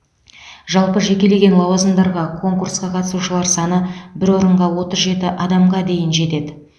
жалпы жекелеген лауазымдарға конкурсқа қатысушылар саны бір орынға отыз жеті адамға дейін жетеді